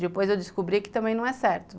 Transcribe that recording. Depois eu descobri que também não é certo.